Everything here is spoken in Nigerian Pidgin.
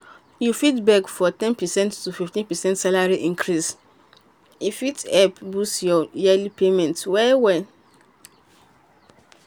if you fit beg for ten percent to 15 percent salary increase e fit help boost your yearly pay well well.